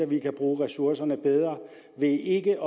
vi kan bruge ressourcerne bedre ved ikke